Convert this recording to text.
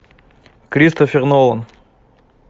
кристофер нолан